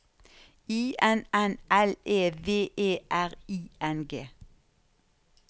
I N N L E V E R I N G